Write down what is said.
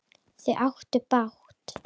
Þau áttu bágt!